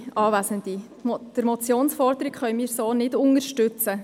Wir können die Motionsforderung so nicht unterstützen.